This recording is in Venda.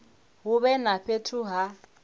hu vhe na fhethu ha